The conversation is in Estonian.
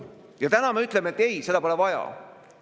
Ja täna me ütleme, et ei, seda pole vaja.